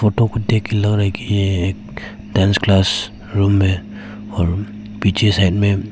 को देख के लग रहा है की ये एक डांस क्लास रूम है और पीछे साइड में--